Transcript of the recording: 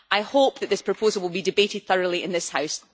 I hope that this proposal will be debated thoroughly in this House.